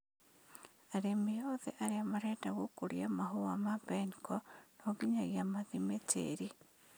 Arĩmi othe arĩa mareda gũkũria Mahũa ma mbeniko nonginyagia mathime tĩri.